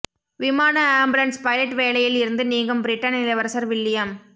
விமான ambulance pilot வேலையில் இருந்து நீங்கும் பிரிட்டன் இளவரசர் வில்லியம்